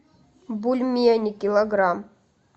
бульмени килограмм